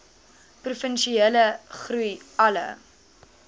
provinsiale groei alle